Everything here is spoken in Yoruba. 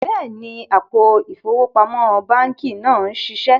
Bẹẹni, àpò ifowópamọ̀ bankí náà n ṣíṣẹ